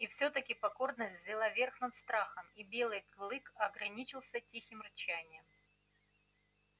и всё-таки покорность взяла верх над страхом и белый клык ограничился тихим рычанием